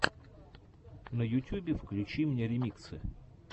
на ютюбе включи мне ремиксы